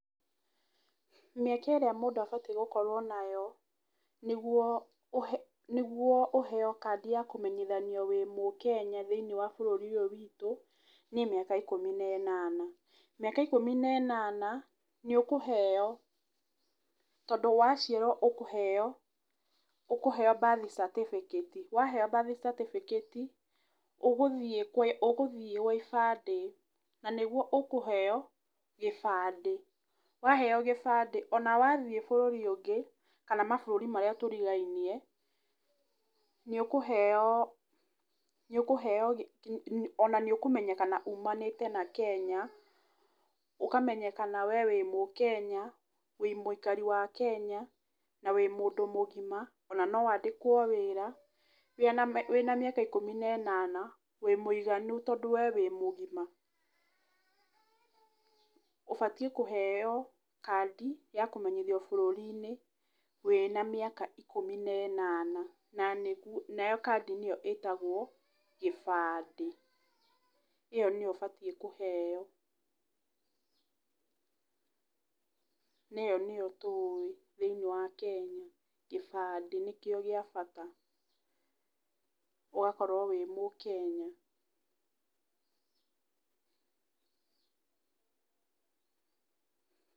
Mĩaka ĩrĩa mũndũ abatiĩ gũkorwo nayo, nĩguo ũheyo kandi ya kũmenyithanio wĩ mũkenya thĩiniĩ wa bũrũri ũyũ witũ nĩ mĩaka ikũmi na ĩnana. Mĩaka ikũmi na ĩnana nĩ ũkũheyo, tondũ waciarwo nĩ ũkũheyo, ũkũheyo birth certificate, waheyo birth certificate, ũgũthiĩ gwa ibandĩ na nĩguo ũkũheyo gĩbandĩ. Waheyo gĩbandĩ ona wathiĩ bũrũri ũngĩ kana mabũrũri marĩa tũrigainie, nĩ ũkũheyo, nĩ ũkũheyo, ona nĩ ũkũmenyekana umanĩte na Kenya, ũkamenyekana we wĩ mũkenya, wĩ mũikari wa Kenya na wĩ mũndũ mũgima, ona no wandĩkwo wĩra wĩna mĩaka ĩkũmi na ĩnana, wĩ muiganu tondũ we wĩ mũgima. Ũbatiĩ kũheyo kandi ya kũmenyithio bũrũri-inĩ wĩna mĩaka ikũmi na ĩnana. Nayo kandi nĩyo ĩtagwo gĩbandĩ, ĩyo nĩyo ũbatiĩ kũheyo. na ĩyo nĩyo tũwĩ thĩiniĩ wa Kenya. Gĩbandĩ nĩkĩo gĩa bata, ũgakorwo wĩ mũkenya.